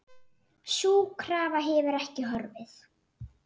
Sú krafa hefur ekki horfið.